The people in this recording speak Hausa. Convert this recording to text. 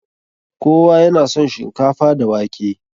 Kowa ya na son shinkafa da wake.